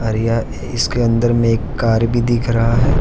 और यह इसके अंदर मे एक कार भी दिख रहा है।